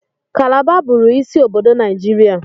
Kalaba bụụrụ isi obodo Naijiria.